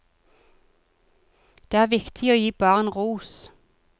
Det er viktig å gi barn ros.